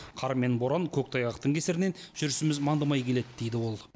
қар мен боран көктайғақтың кесірінен жүрісіміз мандымай келеді дейді ол